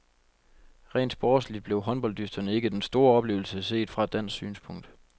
Rent sportsligt blev håndbolddysterne ikke den store oplevelse set fra et dansk synspunkt.